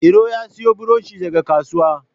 Iro ya siyo buroshi daga kasuwa